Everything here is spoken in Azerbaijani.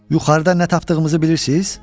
Yuxarıda nə tapdığımızı bilirsiz?